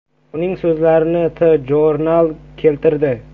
Uning so‘zlarini TJournal keltirdi .